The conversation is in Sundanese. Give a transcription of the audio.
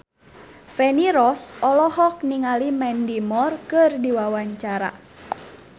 Feni Rose olohok ningali Mandy Moore keur diwawancara